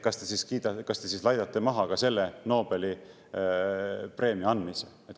Kas te siis laidate maha ka selle Nobeli preemia andmise?